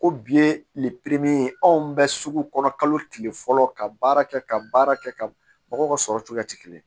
Ko bi ye anw bɛ sugu kɔnɔ kalo tile fɔlɔ ka baara kɛ ka baara kɛ ka mɔgɔw ka sɔrɔ cogoya ti kelen ye